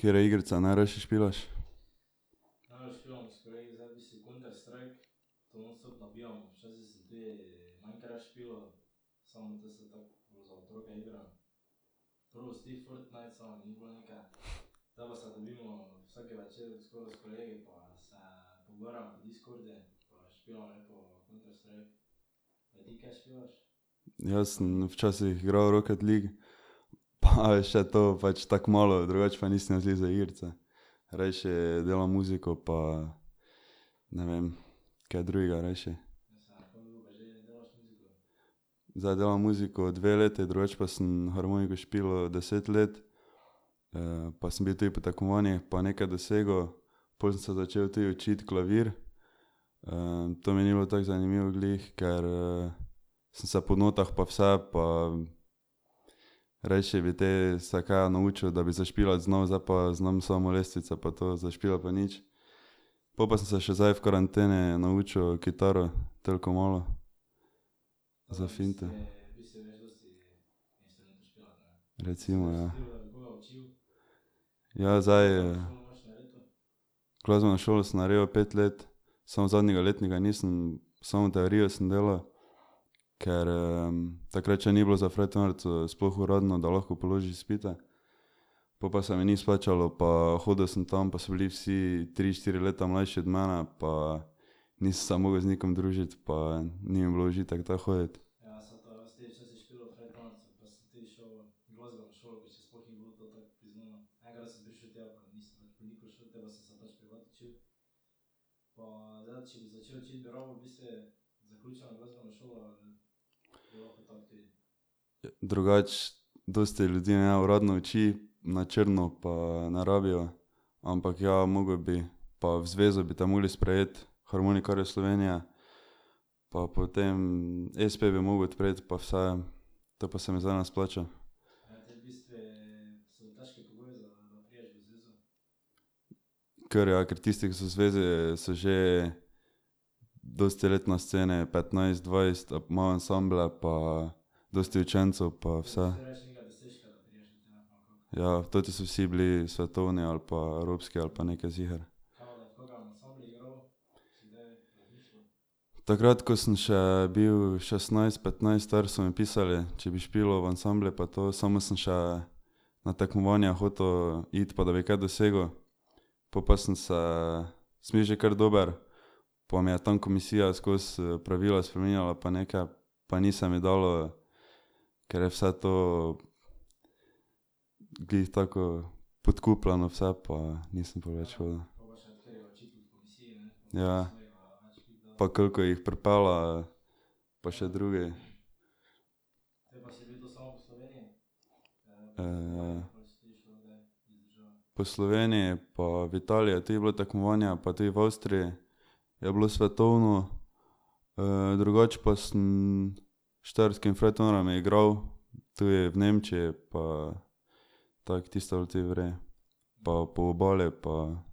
Katere igrice najrajši špilaš? Jaz sem včasih igral Rocket League pa še to pač tako malo, drugače pa nisem jaz glih za igrice. Rajši delam muziko pa ne vem, kaj drugega rajši. Zdaj delam muziko dve leti, drugače pa sem harmoniko špilal deset let. pa sem bil tudi po tekmovanjih pa nekaj dosegel. Pol sem se začel tudi učiti klavir. to mi ni bilo tako zanimivo glih, ker sem se po notah pa vse pa rajši bi te se kaj naučil, da bi zašpilati znal, zdaj pa znam samo lestvice pa to, zašpilati pa nič. Po pa sem se še zdaj v karanteni naučil kitaro, toliko malo. Za finte. Recimo, ja. Ja, zdaj. Glasbeno šolo sem naredil pet let, samo zadnjega letnika nisem, samo teorijo sem delal, ker takrat še ni bilo za frajtonarico sploh uradno, da lahko položiš izpite. Po pa se mi ni splačalo pa hodil sem tam pa so bili vsi tri, štiri leta mlajši od mene pa nisi se mogel z nikomer družiti pa ni mi bilo v užitek tja hoditi. Drugače dosti ljudi neuradno uči, na črno, pa ne rabijo, ampak ja, moral bi pa v zvezo bi te morali sprejeti harmonikarjev Slovenije. Pa potem espe bi moral odpreti pa vse, to pa se mi zdaj ne splača. Kar, ja, ker tisti, ki so v zvezi, so že dosti let na sceni, petnajst, dvajset ali pa imajo ansamble pa dosti učencev pa vse Ja, toti so vsi bili svetovni ali pa evropski ali pa nekaj ziher. Takrat ko sem še bil šestnajst, petnajst star, so mi pisali, če bi špilal v ansamblu pa to, samo sem še na tekmovanja hotel iti pa da bi kaj dosegel, po pa sem se, sem bil že kar dober pa mi je tam komisija skozi pravila spreminjala pa nekaj pa ni se mi dalo, ker je vse to glih tako podkupljeno vse pa nisem pol več hodil. Ja. Pa koliko jih pripelje. Pa še drugi. Po Sloveniji pa v Italiji je tudi bilo tekmovanje pa tudi v Avstriji je bilo svetovno drugače pa sem Štajerskimi frajtonarji igral tudi v Nemčiji pa tako tisto je bilo tudi v redu. Pa po Obali pa ...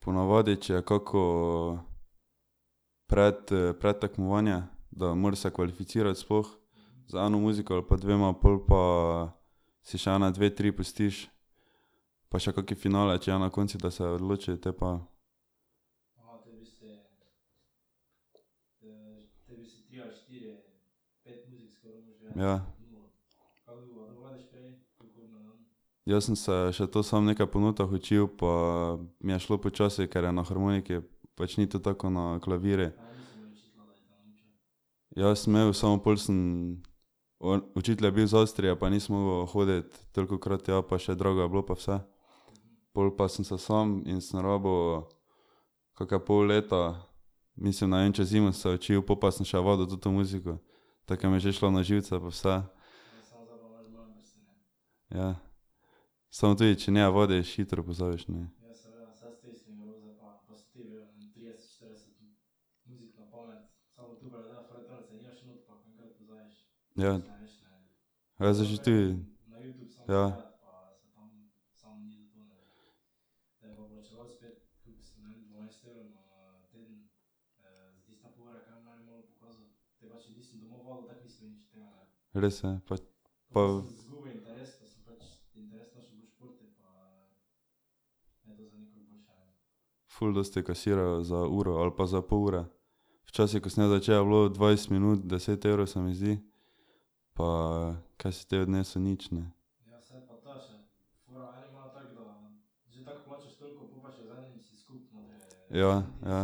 Ponavadi, če je kako predtekmovanje, da moraš se kvalificirati sploh z eno muziko ali pa dvema, pol pa si še ene dve, tri pustiš pa še kak finale, če je na koncu, da se odloči, te pa ... Ja. Jaz sem se še to sam nekaj po notah učil pa mi je šlo počasi, ker je na harmoniki, pač ni to tako kot na klavirju. Ja, sem imel, samo pol sem, on, učitelj je bil iz Avstrije pa nisem mogel hoditi tolikokrat tja pa še drago je bilo pa vse. Pol pa sem se sam in sem rabil kake pol leta, mislim, ne vem, čez zimo sem se učil, pol pa sem še vadil to muziko. Tako ker mi je že šlo na živce pa vse. Ja. Samo tudi če ne vadiš, hitro pozabiš, ne. Ja. Ja. Res je, pa pa ... Ful dosti kasirajo za uro ali pa za pol ure. Včasih, ko sem jaz začel, je bilo dvajset minut deset evrov, se mi zdi. Pa kaj si potem odnesel, nič, ne. Ja, ja. Pri kom pa jo, pri kom se je učil? Ja. Ja.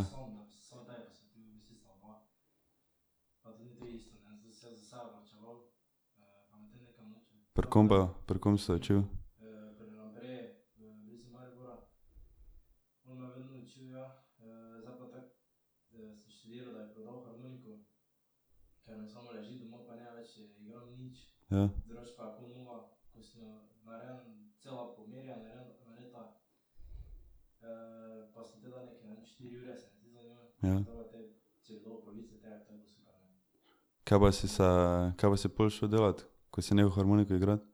Kaj pa si se kaj pa si pol šel delat, ko si nehal harmoniko igrati?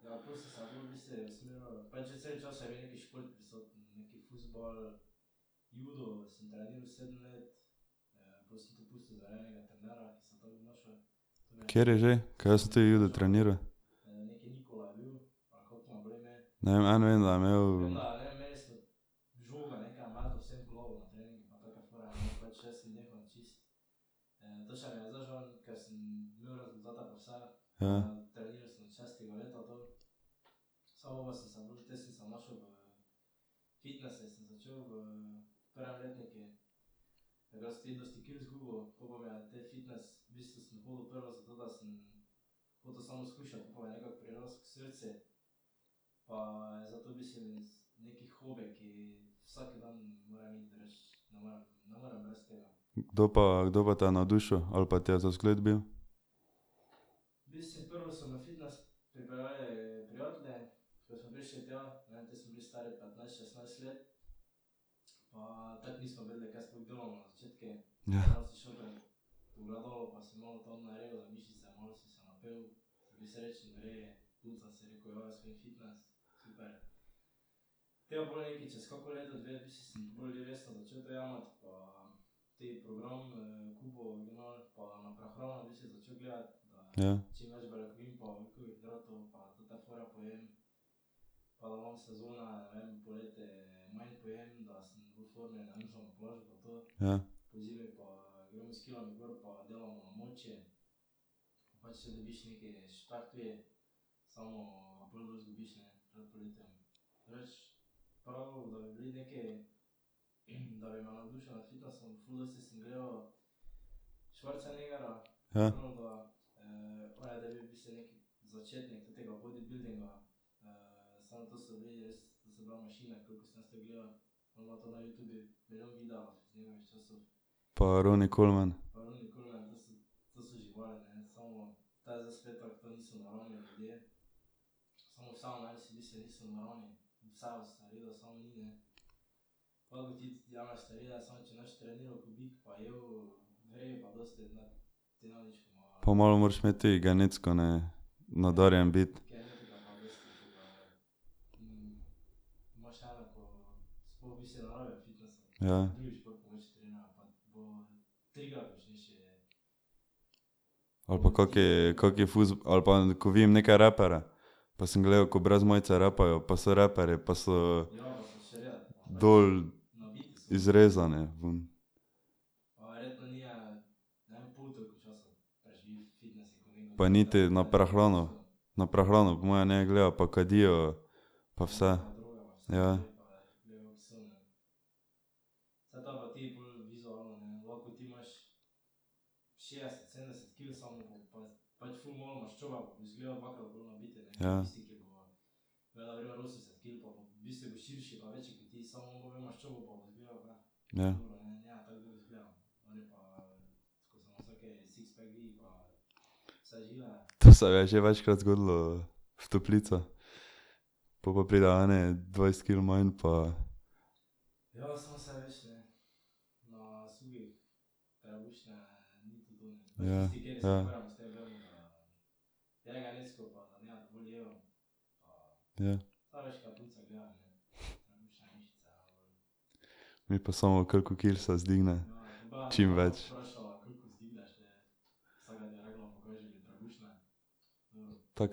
Kateri že? Ker jaz sem tudi judo treniral. Ne vem, eno vem, da je imel ... Ja. Kdo pa, kdo pa te je navdušil ali pa ti je za vzgled bil? Ja. Ja. Ja. Ja. Pa Ronnie Coleman. Pa malo moraš imeti tudi genetsko, ne, nadarjen biti. Ja. Ali pa kak, kak ali pa ko vidim neke raperje. Pa sem gledal, ko brez majice rapajo pa so raperji pa so. Dol, izrezani vun. Pa niti na prehrano, na prehrano po moje ne gledajo pa kadijo pa vse, ja. Ja. Ja. To se je že večkrat zgodilo v toplicah. Pol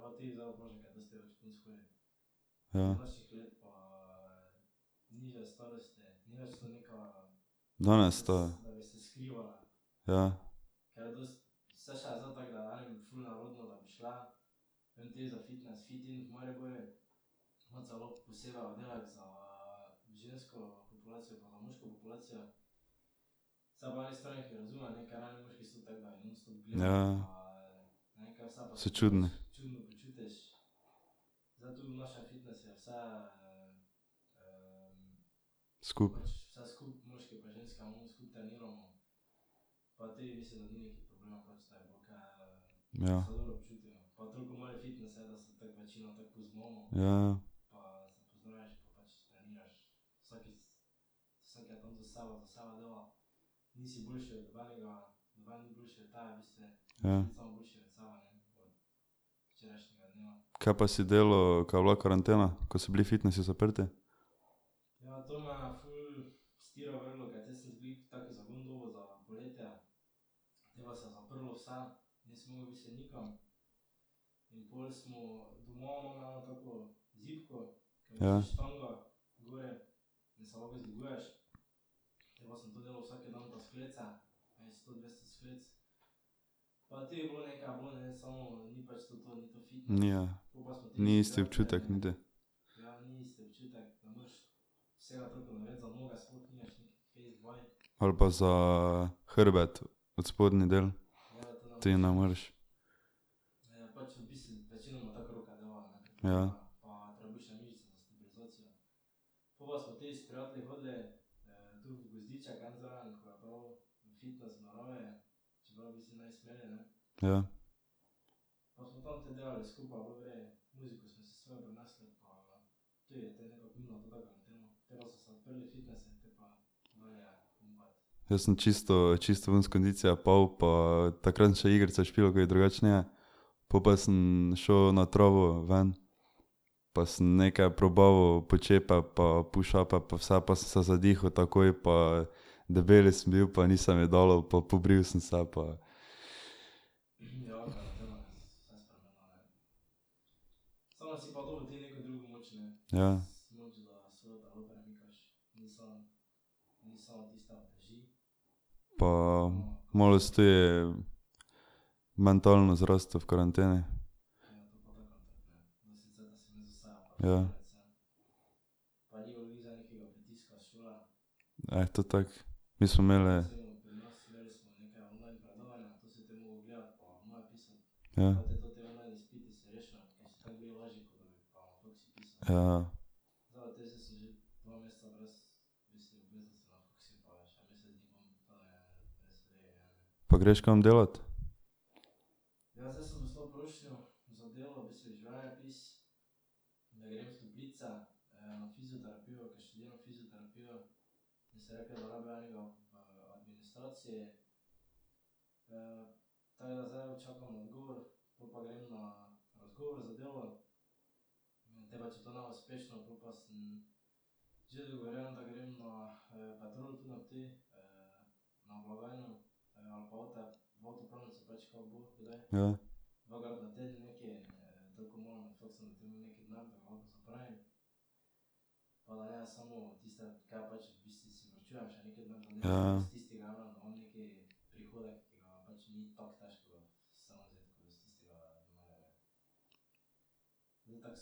pa pridejo eni dvajset kil manj pa Ja, ja. Ja. Mi pa samo koliko kil se vzdigne, čim več. Take pa so tudi redke, ki vprašajo. Ja. Danes to, ja. Ja. Ja, ja. So čudne. Skupaj. Ja. Ja, ja. Ja. Kaj pa si delal, ko je bila karantena, ko so bili fitnesi zaprti? Ja. Ni, ja. Ni isti občutek niti. Ali pa za hrbet odspodnji del. Tudi ne moreš. Ja. Ja. Jaz sem čisto čisto ven iz kondicije padel pa takrat sem še igrice špilal, ko jih drugače ne. Po pa sem šel na travo ven. Pa sem nekaj probaval počepe pa pushupe pa vse pa sem se zadihal takoj pa debel sem bil pa ni se mi dalo pa pobril sem se pa ... Ja. Pa malo si tudi mentalno zrastel v karanteni. Ja. Eh, to tako. Mi smo imeli. Ja. Ja, ja. Pa greš kam delat? Ja. Ja,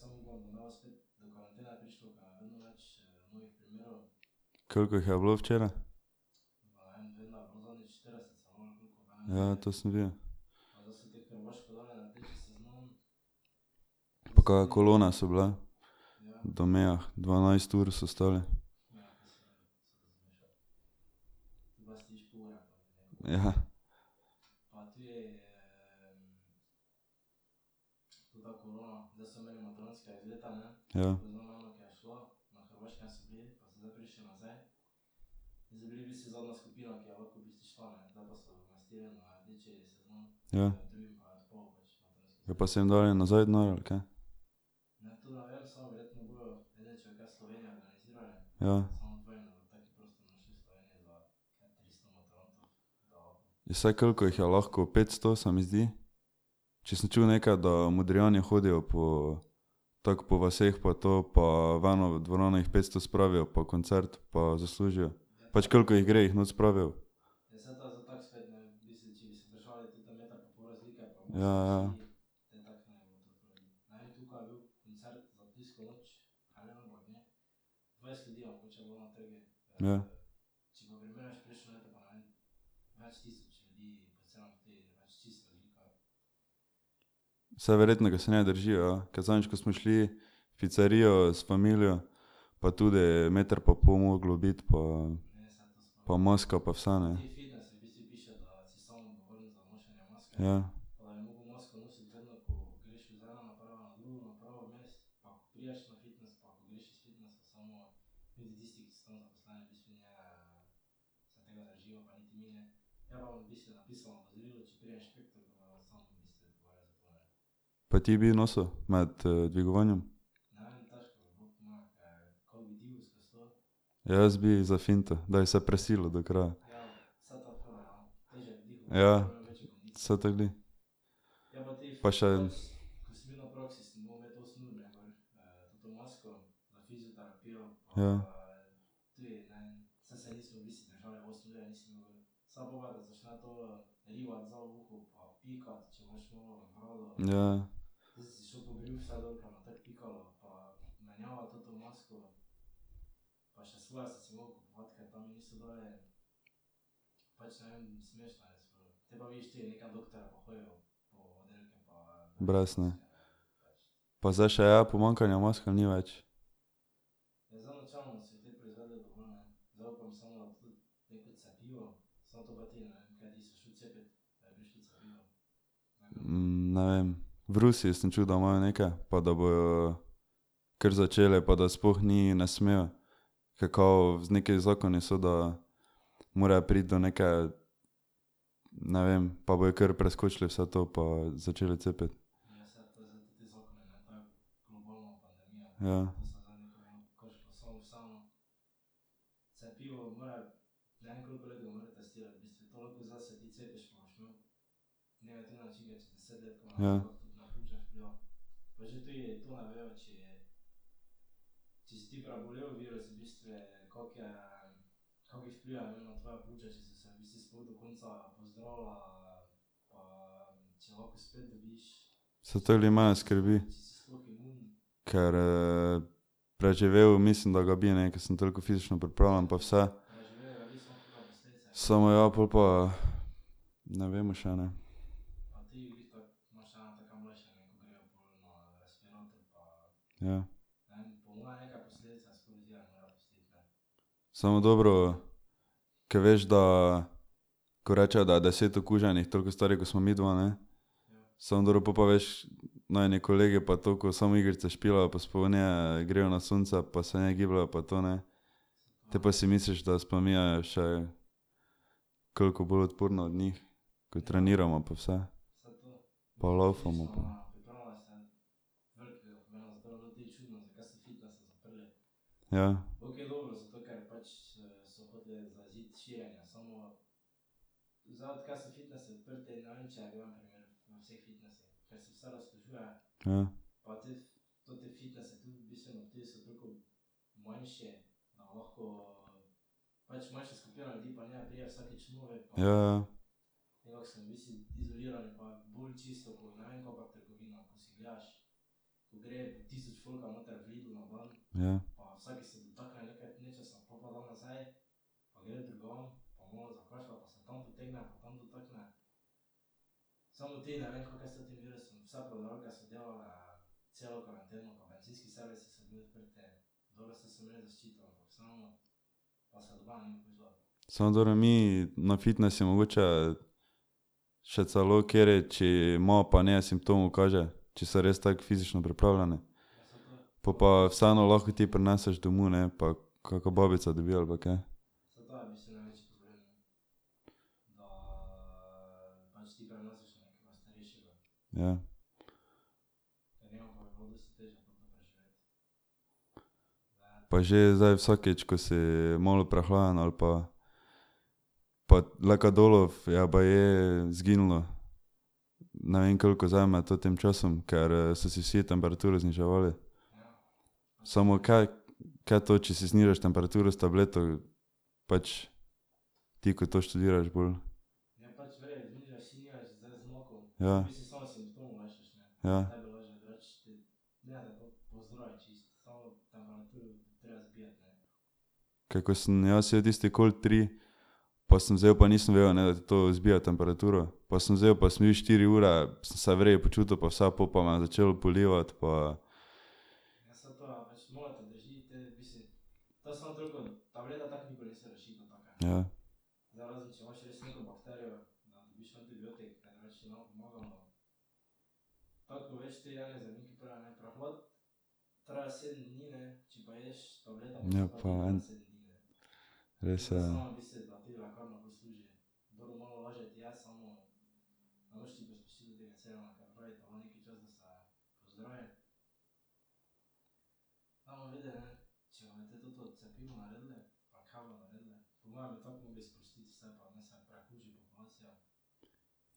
ja. Koliko jih je bilo včeraj? Ja, to sem videl. Pa kake kolone so bile. Do mejah, dvanajst ur so stali. Ja. Ja. Ja. Pa so jim dali nazaj denar, ali kaj? Ja. Saj koliko jih je lahko, petsto, se mi zdi? Če sem čul nekaj, da Modrijani hodijo po tako po vaseh pa to pa v eno dvorano jih petsto spravijo pa koncert pa zaslužijo. Pač koliko jih gre, jih not spravijo. Ja, ja. Ja. Saj verjetno ga se ne držijo, ja, ker zadnjič, ko smo šli v picerijo s familijo pa tudi meter pa pol moralo biti pa pa maska pa vse, ne. Ja. Pa ti bi nosil med dvigovanjem? Ja, jaz bi za finto, da bi se prisilil do kraja. Ja, saj to glih. Pa še ... Ja. Ja, ja. Brez, ne. Pa zdaj še je pomanjkanja mask ali ni več? ne vem, v Rusiji sem čul, da imajo neke pa da bojo kar začeli pa da sploh ni, ne smejo. Ker kao neki zakoni so, da morajo priti do neke, ne vem, pa bojo kar preskočili vse to pa začeli cepiti. Ja. Ja. Saj to glih mene skrbi. Ker preživel, mislim, da ga bi, ne, ker sem toliko fizično pripravljen pa vse. Samo ja, pol pa ne vemo še, ne. Ja. Samo dobro, ko veš, da ko rečejo, da je deset okuženih toliko starih, kot sva midva, ne. Samo dobro pol pa veš, najini kolegi pa to, ko samo igrice špilajo pa sploh ne grejo na sonce pa se ne gibljejo pa to, ne. Potem pa si misliš, da sva midva še koliko bolj odporna od njih. Ko trenirava pa vse. Pa lavfamo pa ... Ja. Ja. Ja, ja. Ja. Samo dobro, mi na fitnesu mogoče, še celo kateri, če ima, pa ne simptomov kaže, če so res tako fizično pripravljeni. Po pa vseeno lahko ti prineseš domov, ne, pa kaka babica dobi, ali pa kaj. Ja. Pa že zdaj vsakič, ko si malo prehlajen ali pa, pa lekadolov je baje zginilo, ne vem koliko zdaj med totim časom, ker so si vsi temperaturo zniževali. Samo kaj, kaj to, če si znižaš temperaturo s tableto, pač, ti, ko to študiraš bolj. Ja. Ja. Ker ko sem jaz jedel tisti Cold tri pa sem vzel pa nisem vedel, ne, da ti to zbija temperaturo, pa sem vzel pa sem bil štiri ure, sem se v redu počutil pa vse, pol pa me je začelo polivati pa ... Ja. Ja pa en. Res je, ja.